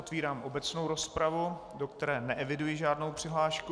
Otvírám obecnou rozpravu, do které neeviduji žádnou přihlášku.